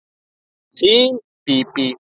Þín Bíbí.